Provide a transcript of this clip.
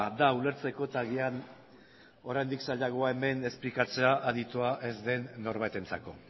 da ulertzeko eta agian oraindik zailagoa hemen esplikatzea aditua ez den norbaitentzako